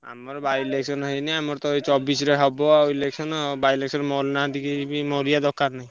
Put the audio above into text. ଆମର by-election ହେଇନି, ଆମର ତ ଏଇ ଚବିଶିରେ ହବ election ଆଉ by-election ମରିନାହାନ୍ତି କେହି ବି ମରିଆ ଦରକାର ନାହିଁ।